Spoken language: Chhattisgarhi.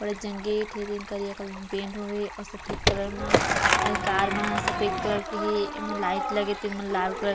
बड़ेजंगे टीन ठीक करिया कलर मे पेंट होये हे अऊ सफेद कलर में कार मन ह सफेद कलर के हे एमे लाइट लगे तेमन लाल कलर --